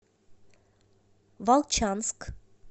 волчанск